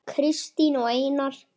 Kristín og Einar.